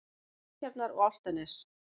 Seltjarnar- og Álftanes.